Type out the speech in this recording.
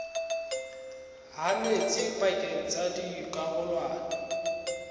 ha metsi pakeng tsa dikarolwana